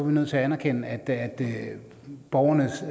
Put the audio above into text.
nødt til at anerkende at borgernes